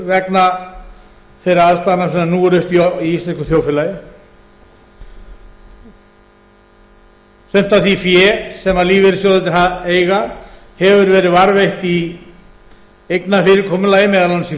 vegna þeirra aðstæðna sem nú eru uppi í íslensku þjóðfélagi sumt af því fé sem lífeyrissjóðirnir eiga hefur verið varðveitt í eignafyrirkomulagi meðal annars í